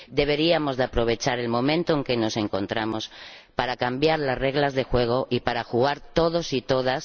Deberíamos aprovechar el momento en que nos encontramos para cambiar las reglas del juego y para jugar todos y todas.